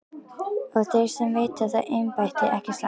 Og þeir sem veita það embætti, ekki satt?